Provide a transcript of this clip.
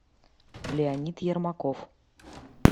леонид ермаков